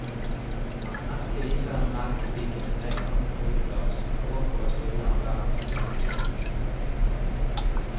Merket viser en melkepike med trekantet hodeplagg, som med åk over skuldrene bærer to melkespann.